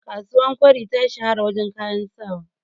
kasuwar kwari ta shahara wajen kayan sawa